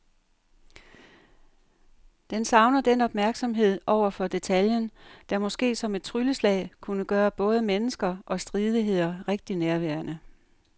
Den savner den opmærksomhed over for detaljen, der måske som et trylleslag kunne gøre både mennesker og stridigheder rigtig nærværende.